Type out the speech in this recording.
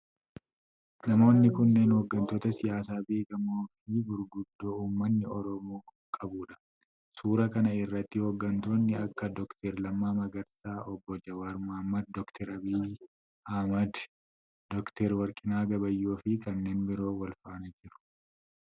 Namoonni kunneen hogganoota siyaasaa beekamoo fi gurguddoo ummanni Oromoo qabudha. Suura kana irratti hooganoonni akka Dr Lammaa Magarsaa, obbo Jawaar Mohammad, Dr Abiy Ahimad, Dr Warqinaa Gabayyoo fi kanneen biroo walfaana jiru.